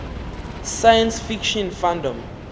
science fiction fandom